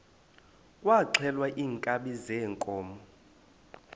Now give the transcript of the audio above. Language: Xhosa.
kwaxhelwa iinkabi zeenkomo